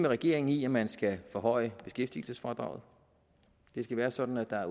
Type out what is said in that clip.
regeringen i at man skal forhøje beskæftigelsesfradraget det skal være sådan at der er